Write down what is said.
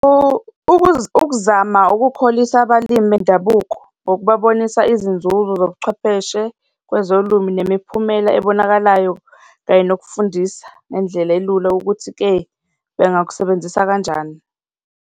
Ukuzama ukukholisa abalimi bendabuko ngokubonisa izinzuzo zobuchwepheshe kwezolimi nemiphumela ebonakalayo kanye nokufundisa nendlela elula ukuthi-ke bengakusebenzisa kanjani.